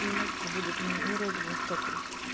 у меня типа будут не розовые сопли